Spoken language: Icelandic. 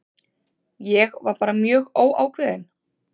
Ég var bara mjög óákveðinn.